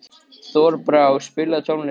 Þorbrá, spilaðu tónlist.